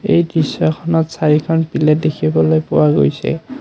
এই দৃশ্যখনত চাৰিখন পিলেট দেখিবলৈ পোৱা গৈছে।